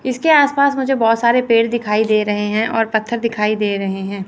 इसके आस-पास मुझे बहुत सारे पेड़ दिखाई दे रहे हैं और पत्थर दिखाई दे रहे हैं।